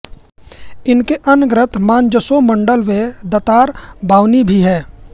इनकें अन्य ग्रन्थ मानजसोमण्डल व दातार बावनी भी है